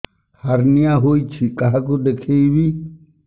hernia ହୋଇଛି କାହାକୁ ଦେଖେଇବି